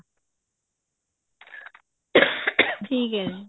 ਠੀਕ ਹੈ ਜੀ